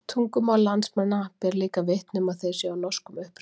Tungumál landsmanna ber líka vitni um að þeir séu af norskum uppruna.